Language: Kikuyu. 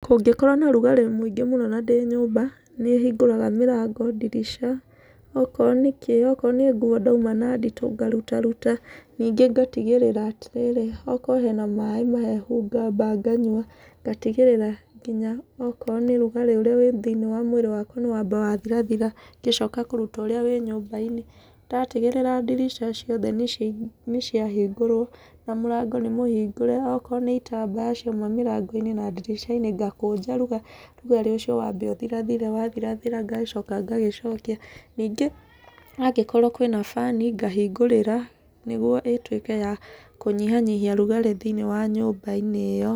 Kũngĩkorwo na rugarĩ mũingĩ mũno na ndĩ nyũmba, nĩhingũraga mĩrango, ndirica, okorwo nĩ kĩ okorwo nĩ nguo ndauma na nditũ, ngarutaruta. Nyingĩ ngatigĩrĩra atĩrĩrĩ, okorwo hena maĩ mahehu ngamba nganyua, ngatigĩrĩra nginya okorwo nĩ rugarĩ ũrĩa wĩ thĩiniĩ wa mwĩrĩ wakwa nĩ wamba wathirathira, ngĩcoka kũruta ũrĩa wĩ nyũmba-inĩ. Ndatigĩrĩra ndirica ciothe nĩ ciahingũrwo, na mũrango nĩ mũhingũre, okorwo nĩ itambaya ciuma mĩrango-inĩ na ndirica-inĩ, ngakũnja rugarĩ ũcio wambe ũthirathire. Wathirathira ngagĩcoka ngagĩcokia. Nyingĩ angĩkorwo kwĩna bani ngahingũrĩra, nĩguo ĩtuĩke ya kũnyihanyiha rũgarĩ thĩiniĩ wa nyũmba-inĩ ĩyo.